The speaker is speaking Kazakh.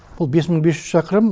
бұл бес мың бес жүз шақырым